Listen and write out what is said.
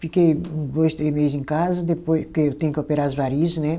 Fiquei dois, três meses em casa, depois porque eu tinha que operar as varizes, né.